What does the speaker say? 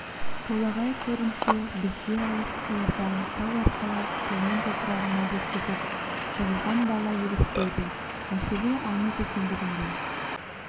толағай көрінсе бізге алыс қиырдан тау арқалап туған топырағына жеткізіп жығылған бала елестейді мәселе аңыз екендігінде